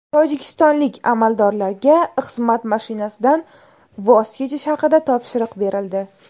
Tojikistonlik amaldorlarga xizmat mashinasidan voz kechish haqida topshiriq berildi.